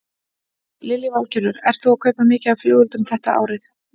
Lillý Valgerður: Ert þú að kaupa mikið af flugeldum þetta árið?